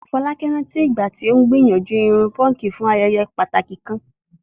Folake rántí ìgbà tí ó gbìyànjú irun púnkì fún ayẹyẹ pàtàkì kan.